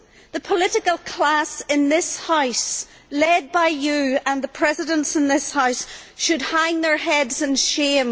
The political class in this House, led by you and the Presidents in this House, should hang their heads in shame.